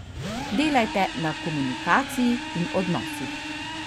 Delajte na komunikaciji in odnosih.